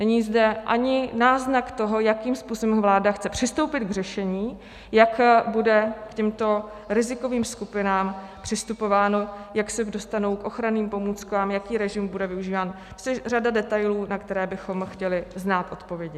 Není zde ani náznak toho, jakým způsobem vláda chce přistoupit k řešení, jak bude k těmto rizikovým skupinám přistupováno, jak se dostanou k ochranným pomůckám, jaký režim bude využíván, což je řada detailů, na které bychom chtěli znát odpovědi.